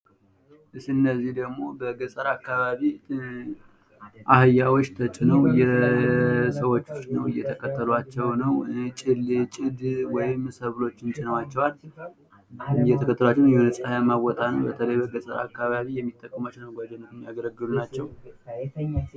እነዚህ ደግሞ በገጠር አካባቢ አህያዎች ተጭነው ሰዎቹ ጭነው እየተከተሏቸው ነው ። ጭድ ወይም ሰብሎችን ጭነዋቸዋል። እየተከተሏቸው ነው የሆነ ፀሀያማ ቦታ ነው ። በተለይ በገጠር አካባቢ የሚጠቀሟቸው ለመጓጓዣ የሚያገለግሉ ናቸው ።